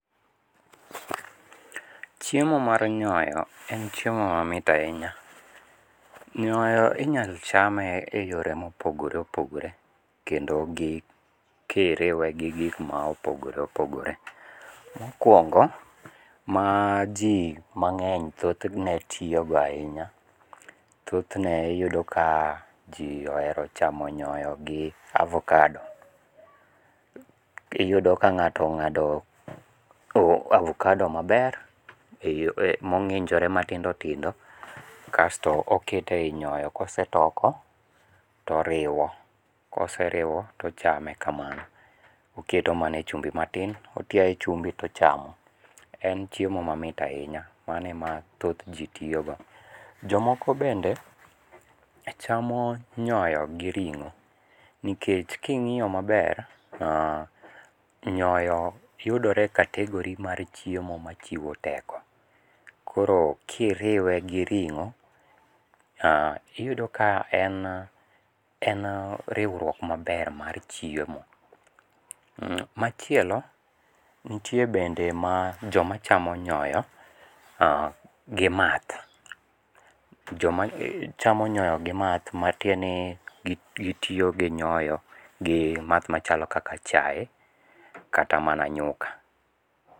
Chiemo mar nyoyo en chiemo mamit ahinya. Nyoyo inyalo chame e yore mopogore opogore kendo gi, kiriwe gi gik mopogore opogore. Mokwongo, ma ji mangény thothne tiyo go ahinya, thothne iyudo ka ji ohero chamo nyoyo gi avocado. Iyudo ka ng'ato ongádo avocado maber, mongínjore matindo tindo kasto oketo e nyonyo ka osetoko to oriwo. Ka oseriwo to ochame kamano. Oketo mana e chumbi matin, otiaye chumbi to ochamo. En chiemo mamit ahinya, mano ema thoth ji tiyo go. Jomoko bende chamo nyoyo gi ringó. Nikech kingíyo maber nyoyo yudore e category mar chiemo machiwo teko. Koro kiriwe gi ringó, iyudo ka en en riwruok maber mar chiemo. Machielo, nitie bende ma joma chamo nyoyo, gi math. Joma chamo nyoyo gi math, matiende ni gitiyo gi nyoyo gi math machalo kaka chae, kata mana nyuka.